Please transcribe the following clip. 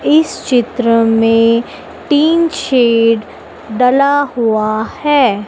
इस चित्र में टीन शेड डला हुआ है।